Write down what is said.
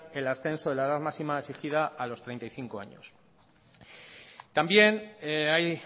el ascenso en la edad máxima exigida a los treinta y cinco años también hay